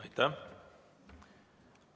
Aitäh!